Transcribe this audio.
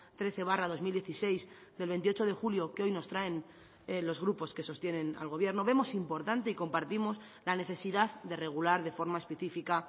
trece barra dos mil dieciséis del veintiocho de julio que hoy nos traen los grupos que sostienen al gobierno vemos importante y compartimos la necesidad de regular de forma específica